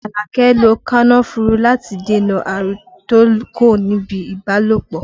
Alake lo kànnáfùrù láti dènà àrùn tó kó níbi ibalopo